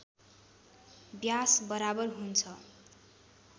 व्यास बराबर हुन्छ